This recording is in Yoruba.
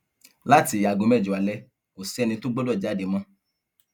láti aago mẹjọ alẹ kò sẹni tó gbọdọ jáde mọ